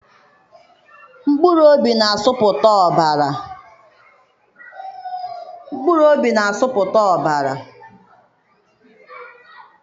Mkpụrụobi na-asụpụta ọbara.